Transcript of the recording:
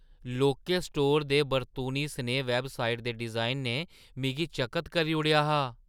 लौह्के स्टोरै दे बरतूनी-सनेही वैबसाइट दे डिजाइन ने मिगी चकत करी ओड़ेआ हा।